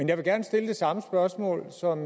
jeg vil gerne stille det samme spørgsmål som